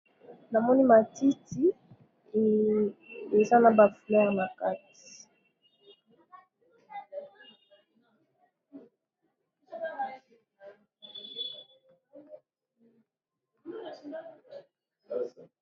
na moni matiti eza na ba fololo na kati.